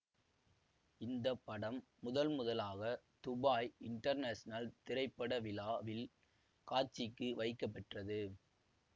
இந்தப்படம் முதல்முதலாக Dubai international திரைப்பட விழா வில் காட்சிக்கு வைக்கப்பெற்றது